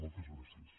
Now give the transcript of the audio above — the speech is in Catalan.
moltes gràcies